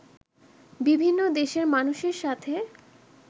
বিভিন্ন দেশের মানুষের সাথে